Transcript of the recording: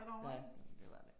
Ja det var det